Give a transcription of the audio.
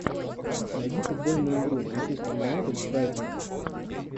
найди футбольную игру манчестер юнайтед с брайтоном